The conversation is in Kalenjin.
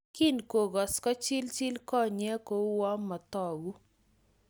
Kingokos kochilchi konyek kouyo motoku